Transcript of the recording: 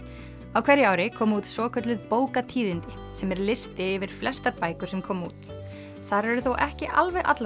á hverju ári koma út svokölluð bókatíðindi sem er listi yfir flestar bækur sem koma út þar eru þó ekki alveg allar